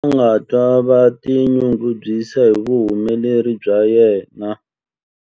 A nga twa a tinyungubyisa hi vuhumeleri bya yena.